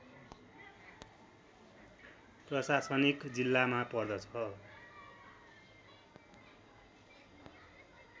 प्रशासनिक जिल्लामा पर्दछ